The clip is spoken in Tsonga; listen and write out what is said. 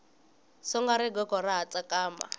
songa rigogo ra ha tsakama